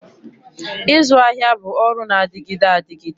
Ịzụ ahịa bụ ọrụ na-adịgide adịgide